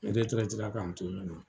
la k'an to ye nɔ.